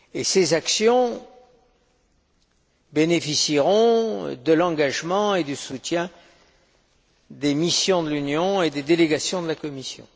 Ces actions bénéficieront de l'engagement et du soutien des missions de l'Union et des délégations de la Commission.